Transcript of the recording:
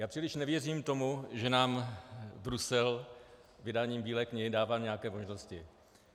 Já příliš nevěřím tomu, že nám Brusel vydáním Bílé knihy dává nějaké možnosti.